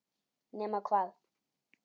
Nema hvað.